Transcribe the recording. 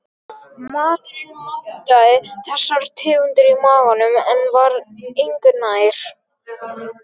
Maðurinn mátaði þessar tegundir í maganum en var engu nær.